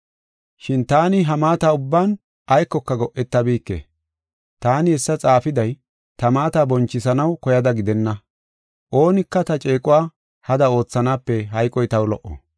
Shin taani ha maata ubban aykoka go7etabike. Taani hessa xaafiday ta maata bonchisanaw koyada gidenna. Oonika ta ceequwa hada oothanaape hayqoy taw lo77o.